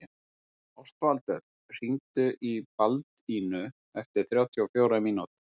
Ástvaldur, hringdu í Baldínu eftir þrjátíu og fjórar mínútur.